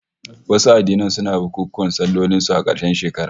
Wasu addinan suna bukunkunan sallolin su a karshen shekara